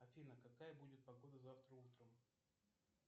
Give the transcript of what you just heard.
афина какая будет погода завтра утром